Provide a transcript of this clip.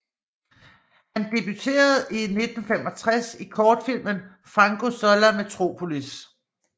Han debuterede i 1965 i kortfilmen Fango sulla metropolis